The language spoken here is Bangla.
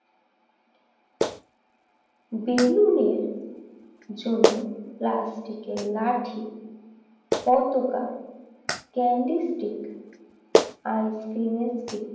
বেলুনের জন্য প্লাস্টিকের লাঠি অথবা ক্যান্ডিস্টিক আইসক্রিমের স্টিক